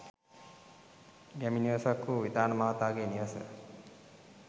ගැමි නිවසක් වූ විතාන මහාගේ නිවස